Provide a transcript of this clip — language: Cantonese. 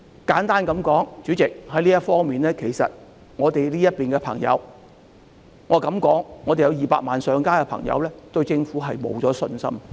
簡而言之，主席，就這方面，我敢說我們有200萬上街的朋友已經對政府失去信心。